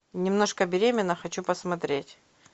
немножко беременна хочу посмотреть